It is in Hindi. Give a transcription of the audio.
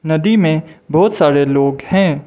नदी में बहोत सारे लोग हैं।